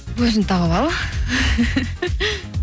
өзің тауып ал